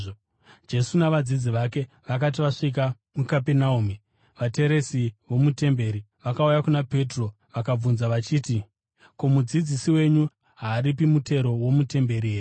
Jesu navadzidzi vake vakati vasvika muKapenaume, vateresi vomutemberi vakauya kuna Petro vakabvunza vachiti, “Ko, mudzidzisi wenyu haaripi mutero womutemberi here?”